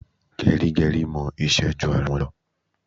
Gẹrígẹrí mọ iṣẹ́ ju ara wọn lọ.